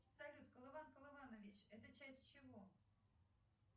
салют колыван колыванович это часть чего